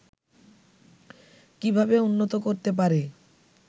কিভাবে উন্নত করতে পারে